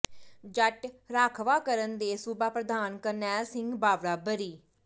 ਜੱਟ ਰਾਖਵਾਂਕਰਨ ਦੇ ਸੂਬਾ ਪ੍ਰਧਾਨ ਕਰਨੈਲ ਸਿੰਘ ਭਾਵੜਾ ਬਰੀ